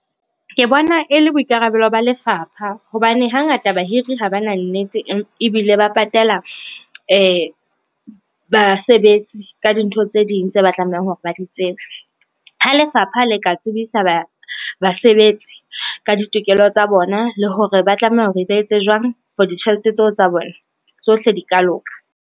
Ke bona e le boikarabelo ba lefapha, hobane hangata bahiri ha ba na nnete ebile ba patela basebetsi ka dintho tse ding tse ba tlamehang hore ba di tsebe. Ha lefapha le ka tsebisa basebetsi ka ditokelo tsa bona, le hore ba tlameha hore ba etse jwang for ditjhelete tseo tsa bona, tsohle di ka loka.